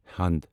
ہَند